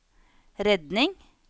redning